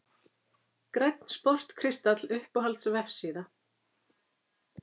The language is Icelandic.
Grænn sport kristall Uppáhalds vefsíða?